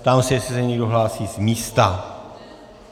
Ptám se, jestli se někdo hlásí z místa.